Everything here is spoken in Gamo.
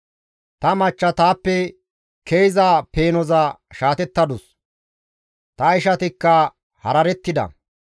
Ta machcha taappe ke7iza peenoza shaatettadus; ta ishatikka hararettida.